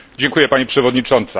Pani Przewodnicząca!